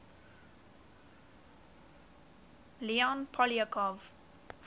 leon poliakov